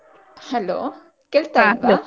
Hello ಕೇಳ್ತಾ ಉಂಟಾ?